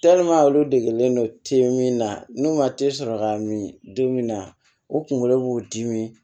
olu degelen don min na n'u ma sɔrɔ ka min di min na u kunkolo b'u dimi